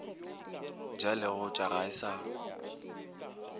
ja leotša ga e sa